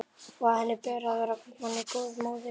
Og að henni ber að vera henni góð móðir.